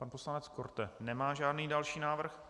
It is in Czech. Pan poslanec Korte nemá žádný další návrh.